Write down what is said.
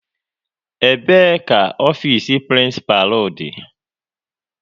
Ebee ka ofiisi prinsipalu dị?